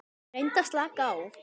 Reyndu að slaka á.